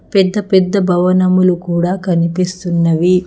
పెద్ద పెద్ద భవనములు కూడా కనిపిస్తున్నవి.